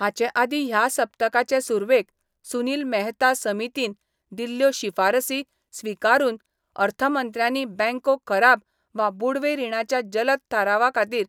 हाचे आदीं ह्या सप्तकाचे सुरवेक सुनील मेहता समितीन दिल्ल्यो शिफारसी स्विकारून अर्थमंत्र्यांनी बँको खराब वा बुडवे रिणाच्या जलद थारावा खातीर